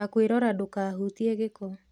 Nĩ kwĩrora ndũkahutie gĩko